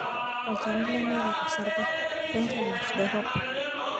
olchoni lemeta osarge, wengiyanget dorop.